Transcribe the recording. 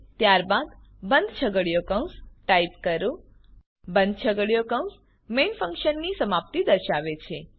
ત્યારબાદ બંધ છગડીયો કૌંસ ટાઈપ કરો બંધ છગડીયો કૌંસ મેઇન ફંક્શનની સમાપ્તિ દર્શાવે છે